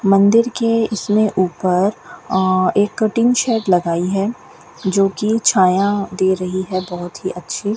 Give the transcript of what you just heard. मंदिर के इसमें ऊपर आ एक टिन शेड लगाई है जोकि छाया दे रही है बहोत ही अच्छी।